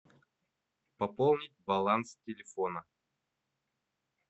пополнить баланс телефона